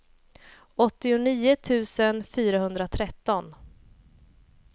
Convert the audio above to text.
åttionio tusen fyrahundratretton